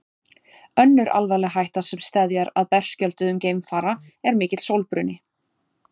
önnur alvarleg hætta sem steðjar að berskjölduðum geimfara er mikill sólbruni